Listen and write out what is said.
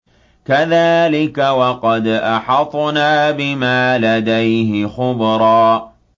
كَذَٰلِكَ وَقَدْ أَحَطْنَا بِمَا لَدَيْهِ خُبْرًا